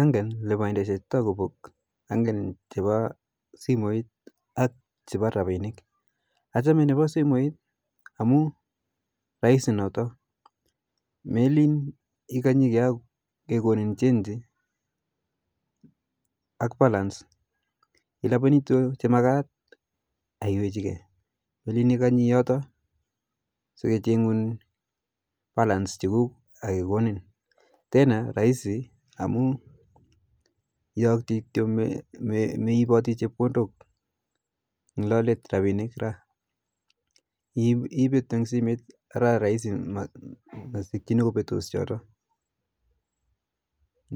Angen lipaindashek chuta kopok, angek che pa simoit ak che pa rabinik, achame nepo simoit amu raisi noto, melin ikanyi kekonin chenji ak balance, ilapi kityo chemakat ak iwechike, melin ikanyi yote sikechengun [ck]balance akekonin, tena raisi amu iyakti kityo meipati chepkondok in lalet rabinik raa, iipe kityo eng simet raa raisi masikchini kopetyo choto,